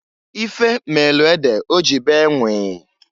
Ife meelu ede oji bee nwịịị.